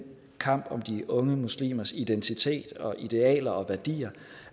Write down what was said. kamp om de unge muslimers identitet og idealer og værdier